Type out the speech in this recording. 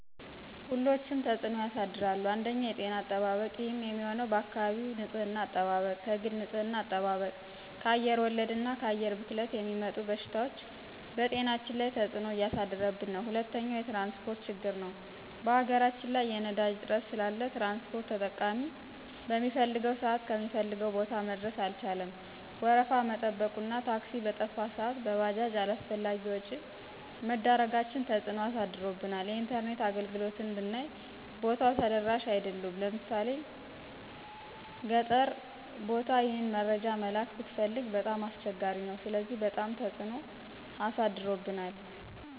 ሁሎችም ተፅኖ ያሳድራሉ አንደኛ የጤና አጠባበቅ ይህም የሚሆነው በአካባቢ ንፅህና አጠባበቅ፣ ከግል ንፅህና አጠባብቅ፣ ከአየር ወለድ እና ከአየር ብክለት የሚመጡ በሽታዎች በጤናችን ላይ ተፅኖ እያሳደረብን ነው። ሁለተኛው የትራንስፖርት ችግር ነው በሀገራችን ላይ የነዳጅ እጥረት ስላለ ትራንስፖርት ተጠቃሚ በሚፈልገው ስአት ከሚፈልገው ቦታ መድረስ አልቻለም ወረፋ መጠበቁ እና ታክሲ በጠፋ ስአት በባጃጅ አላስፈላጊ ወጭ መዳረጋችን ተፅኖ አሳድሮብናል። የኢንተርኔት አገልግሎትም ብይ ቦታው ተደራሽ አይደሉም ለምሣሌ ገጠር ቦታ ይህን መረጃ መላክ ብትፈልግ በጣም አስቸጋሪ ነው ስለዚህ በጣም ትፅኖ አሳድሮብናል።